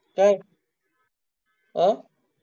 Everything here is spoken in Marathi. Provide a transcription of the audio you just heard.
तर हा